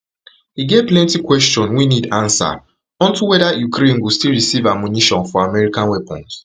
e get plenty questions wey need ansa unto weda ukraine go still receive ammunition for american weapons